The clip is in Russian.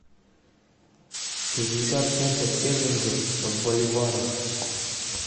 шестьдесят фунтов стерлингов в боливарах